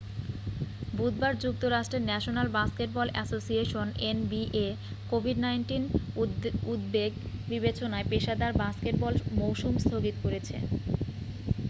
বুধবার যুক্তরাষ্টের national basketball association NBA কোভিড-১৯ উদ্বেগ বিবেচনায় পেশাদার বাস্কেটবল মৌসুম স্থগিত করেছে।